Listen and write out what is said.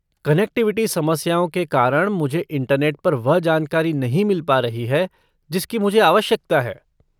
Connectivity समस्याओं के कारण मुझे इंटरनेट पर वह जानकारी नहीं मिल पा रही है जिसकी मुझे आवश्यकता है।